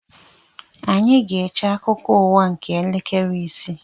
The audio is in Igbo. Anyị ga-eche akụkọ ụwa nke elekere ise